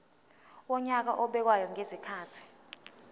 wonyaka obekwayo ngezikhathi